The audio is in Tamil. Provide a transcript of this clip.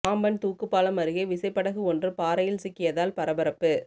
பாம்பன் தூக்கு பாலம் அருகே விசைப்படகு ஒன்று பாறையில் சிக்கியதால் பரபரப்பு